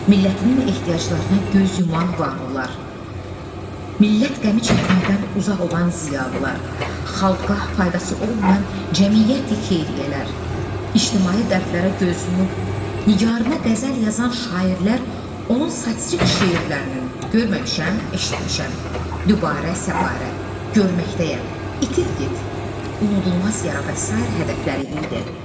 Millətinin ehtiyaclarına göz yuman varlılar, millət qəmi çəkməkdən uzaq olan ziyalılar, xalqqa faydası olmayan cəmiyyəti-xeyriyyələr, ictimai dərdlərə göz yumub, nigarına qəzəl yazan şairlər, onun satirik şeirlərinin görməmişəm, eşitmişəm, Dübarə, Səbarə, görməkdəyəm, İtil get, Unudulmaz yara və sair hədəfləri idi.